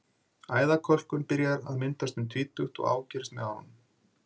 Æðakölkun byrjar að myndast um tvítugt og ágerist með árunum.